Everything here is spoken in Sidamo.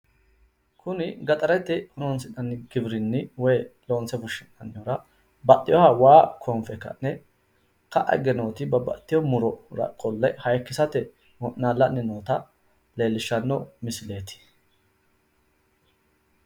Kuni gaxarete horoonsi'nani giwirinnu hayyoonni murote hayikkinsara qixxeessinoonni wayi misileeti